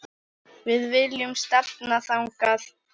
Við viljum stefna þangað.